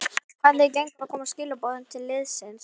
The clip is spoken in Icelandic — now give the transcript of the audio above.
Hvernig gengur að koma skilaboðum til liðsins?